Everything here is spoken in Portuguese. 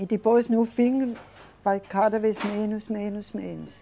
E depois no fim vai cada vez menos, menos, menos.